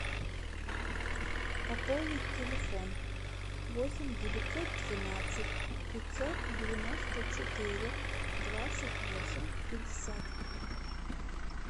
пополнить телефон восемь девятьсот двенадцать пятьсот девяносто четыре двадцать восемь пятьдесят